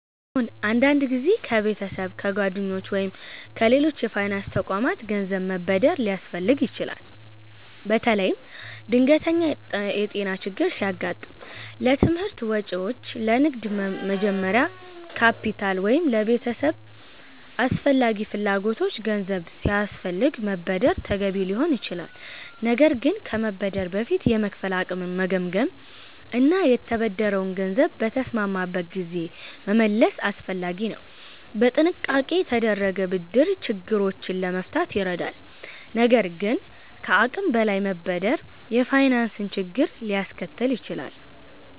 አዎን፣ አንዳንድ ጊዜ ከቤተሰብ፣ ከጓደኞች ወይም ከሌሎች የፋይናንስ ተቋማት ገንዘብ መበደር ሊያስፈልግ ይችላል። በተለይም ድንገተኛ የጤና ችግር ሲያጋጥም፣ ለትምህርት ወጪዎች፣ ለንግድ መጀመሪያ ካፒታል ወይም ለቤተሰብ አስፈላጊ ፍላጎቶች ገንዘብ ሲያስፈልግ መበደር ተገቢ ሊሆን ይችላል። ነገር ግን ከመበደር በፊት የመክፈል አቅምን መገምገም እና የተበደረውን ገንዘብ በተስማማበት ጊዜ መመለስ አስፈላጊ ነው። በጥንቃቄ የተደረገ ብድር ችግሮችን ለመፍታት ይረዳል፣ ነገር ግን ከአቅም በላይ መበደር የፋይናንስ ችግር ሊያስከትል ይችላል።